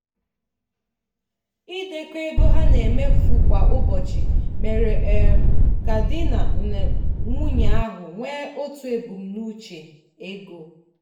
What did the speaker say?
ịdekọ ego ha na-emefu kwa ụbọchị mere um ka di na nwunye ahụ nwee otu ebumnuche ego.